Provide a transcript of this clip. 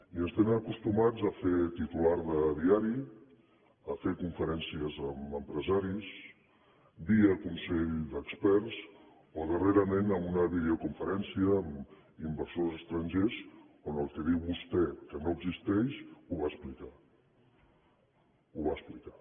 i ens tenen acostumats a fer titular de diari a fer conferències amb empresaris via consell d’experts o darrerament amb una videoconferència amb inversors estrangers on el que diu vostè que no existeix ho va explicar ho va ex plicar